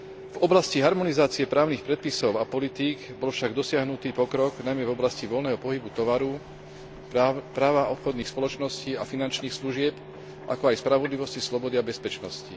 V oblasti harmonizácie právnych predpisov a politík bol však dosiahnutý pokrok, najmä v oblasti voľného pohybu tovaru, práva obchodných spoločností a finančných služieb, ako aj spravodlivosti, slobody a bezpečnosti.